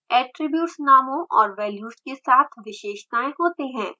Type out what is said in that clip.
attributes नामों और values के साथ विशेषताएं होते हैं